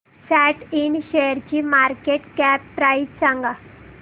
सॅट इंड शेअरची market cap price सांगा